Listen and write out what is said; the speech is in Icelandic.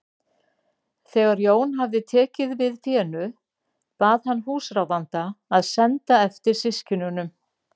Þegar Jón hafði tekið við fénu bað hann húsráðanda að senda eftir systkinunum.